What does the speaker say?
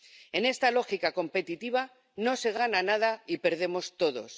En esta lógica competitiva no se gana nada y perdemos todos.